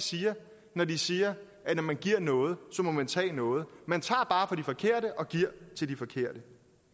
siger når de siger at når man giver noget må man tage noget man tager bare fra de forkerte og giver til de forkerte